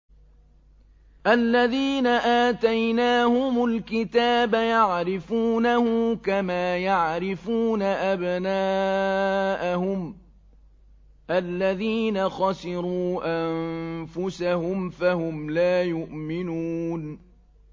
الَّذِينَ آتَيْنَاهُمُ الْكِتَابَ يَعْرِفُونَهُ كَمَا يَعْرِفُونَ أَبْنَاءَهُمُ ۘ الَّذِينَ خَسِرُوا أَنفُسَهُمْ فَهُمْ لَا يُؤْمِنُونَ